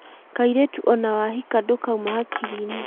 kairĩtu ona wahika ndũkauma hakiri-inĩ